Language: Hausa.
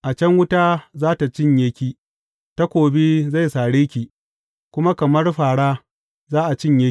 A can wuta za tă cinye ki; takobi zai sare ki, kuma kamar fāra, za a cinye ki.